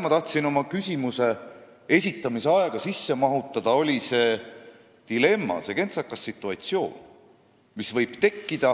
Ma tahtsin oma küsimuse esitamise aega mahutada seda dilemmat, seda kentsakat situatsiooni, mis võib tekkida